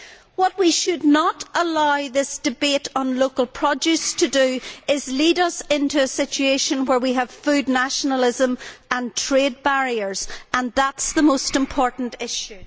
What we should not allow this debate on local produce to do is to lead us into a situation where we have food nationalism and trade barriers, and that is the most important issue.